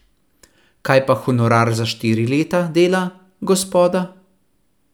Kaj pa honorar za štiri leta dela, gospoda?